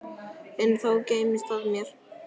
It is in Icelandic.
Enn þá geymist það mér.